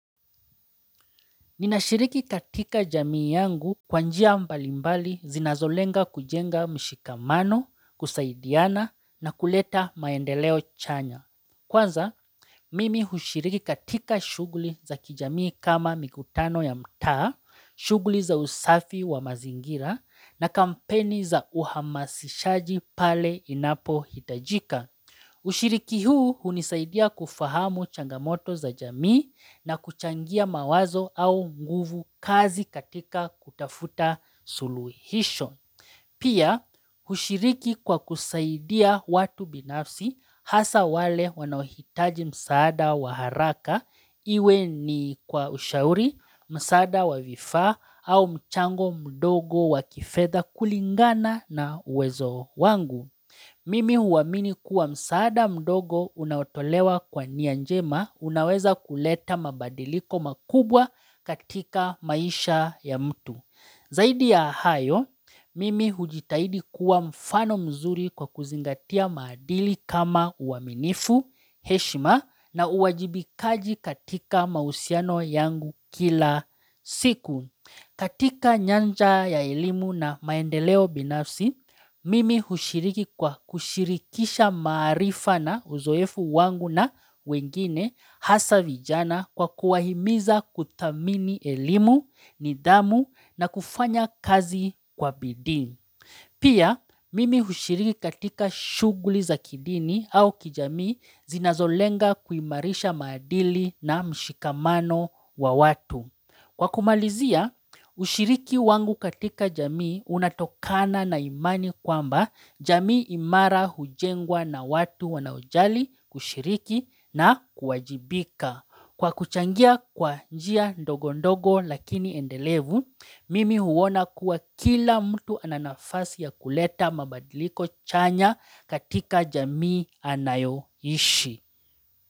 Ninashiriki katika jamii yangu kwa njia mbalimbali zinazolenga kujenga mshikamano, kusaidiana na kuleta maendeleo chanya. Kwanza, mimi hushiriki katika shughuli za kijamii kama mikutano ya mtaa, shughuli za usafi wa mazingira na kampeni za uhamasishaji pale inapo hitajika. Ushiriki huu hunisaidia kufahamu changamoto za jamii na kuchangia mawazo au nguvukazi katika kutafuta suluhisho. Pia, hushiriki kwa kusaidia watu binafsi hasa wale wanaohitaji msaada wa haraka iwe ni kwa ushauri, msaada wa vifaa au mchango mdogo wa kifedha kulingana na uwezo wangu. Mimi huamini kuwa msaada mdogo unaotolewa kwa nia njema unaweza kuleta mabadiliko makubwa katika maisha ya mtu. Zaidi ya hayo, mimi hujitahidi kuwa mfano mzuri kwa kuzingatia maadili kama uaminifu, heshima na uwajibikaji katika mahusiano yangu kila siku. Katika nyanja ya elimu na maendeleo binafsi, mimi hushiriki kwa kushirikisha maarifa na uzoefu wangu na wengine hasa vijana kwa kuwahimiza kuthamini elimu, nidhamu na kufanya kazi kwa bidii. Pia, mimi hushiriki katika shughuli za kidini au kijamii zinazolenga kuimarisha maadili na mshikamano wa watu. Kwa kumalizia, hushiriki wangu katika jamii unatokana na imani kwamba jamii imara hujengwa na watu wanaojali kushiriki na kuwajibika. Kwa kuchangia kwa njia ndogo ndogo lakini endelevu, mimi huona kuwa kila mtu ana nafasi ya kuleta mabadiliko chanya katika jamii anayoishi.